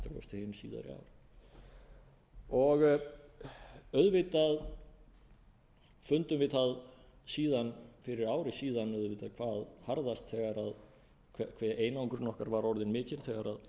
okkar nánustu bandalagsþjóða að minnsta kosti hin síðari ár auðvitað fundum við það fyrir ári síðan auðvitað hvað harðast hve einangrun okkar var orðin mikil þegar